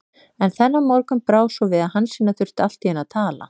En þennan morgun brá svo við að Hansína þurfti allt í einu að tala.